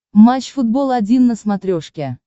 матч футбол один на смотрешке